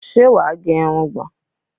Ṣé wà á gẹ irugbọ̀n?